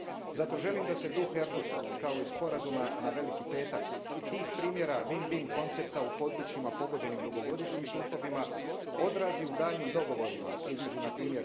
Zato želim da se duh Erdutskog, kao i Sporazuma na Veliki Petak, tih primjera win win koncepta u područjima pogođenim dugogodišnjim sukobima odrazi u daljnjim dogovorima između npr.